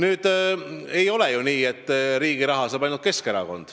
Üldiselt aga ei ole ju nii, et riigi raha saab ainult Keskerakond.